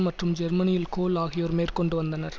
மற்றும் ஜெர்மனியில் கோல் ஆகியோர் மேற்கொண்டு வந்தனர்